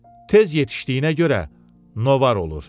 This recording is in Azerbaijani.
Tez yetişdiyinə görə novar olur.